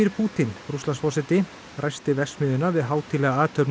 Pútín Rússlandsforseti ræsti verksmiðjuna við hátíðlega athöfn á